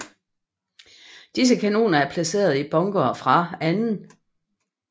Disse kanoner er placeret i bunkere fra 2